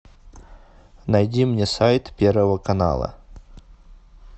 найди мне сайт первого канала